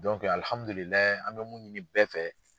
an bɛ mun ɲini bɛɛ fɛ